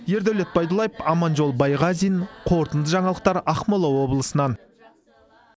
ердәулет байдуллаев аманжол байғазин қорытынды жаңалықтар ақмола облысынан